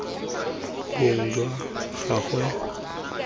bong jwa gagwe lotso lwa